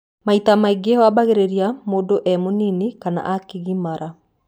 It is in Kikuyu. Maita maingĩ waambagĩrĩria mũndũ e mũnini kana akĩgimara.